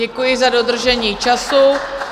Děkuji za dodržení času.